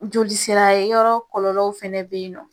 Joli sira yɔrɔ kɔlɔlɔw fɛnɛ be yen nɔ.